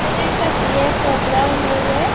এখানে একটা বিয়ের প্রোগ্রাম হ ও হয়ে--